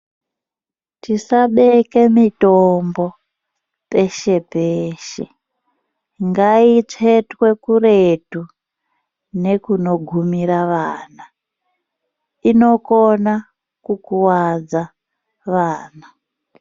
Tisabeke mitombo peshe peshe. Ngaitsvetswe kuretu nekunogumira vana. Inokona kukuvadza vana.